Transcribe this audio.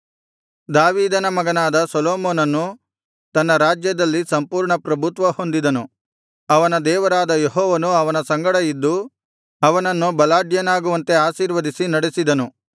ದಾವೀದನ ಮಗನಾದ ಸೊಲೊಮೋನನು ತನ್ನ ರಾಜ್ಯದಲ್ಲಿ ಸಂಪೂರ್ಣ ಪ್ರಭುತ್ವ ಹೊಂದಿದನು ಅವನ ದೇವರಾದ ಯೆಹೋವನು ಅವನ ಸಂಗಡ ಇದ್ದು ಅವನನ್ನು ಬಲಾಢ್ಯನಾಗುವಂತೆ ಆಶೀರ್ವದಿಸಿ ನಡೆಸಿದನು